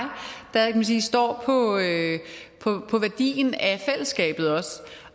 der kan man sige står på værdien af fællesskabet og